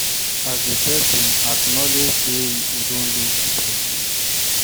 As a person, acknowledge sey you don lose di person